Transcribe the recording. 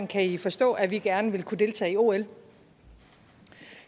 kan i forstå at vi gerne vil kunne deltage i ol